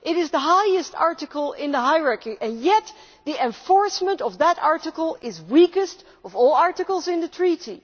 It is the highest article in the hierarchy and yet the enforcement of that article is the weakest of all the articles in the Treaty.